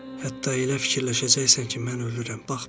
Hətta elə fikirləşəcəksən ki, mən ölürəm.